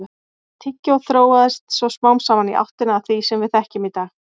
Tyggjóið þróaðist svo smám saman í áttina að því sem við þekkjum í dag.